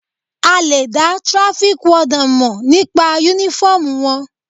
A lè dá traffic warden mọ̀ nípa uniform wọn.